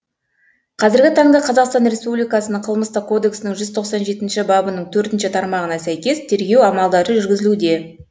қазіргі таңда қазақстан республикасының қылмыстық кодексінің жүз тоқсан жетінші бабының төртінші тармағына сәйкес тергеу амалдары жүргізілуде